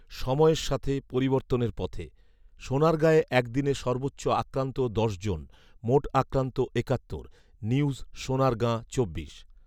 সময়ের সাথে, পরিবর্তনের পথে। সোনারগাঁয়ে একদিনে সর্বোচ্চ আক্রান্ত দশ জন মোট আক্রান্ত একাত্তর। নিউজ সোনারগাঁ চব্বিশ